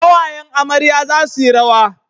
Kawayen amarya za su yi rawa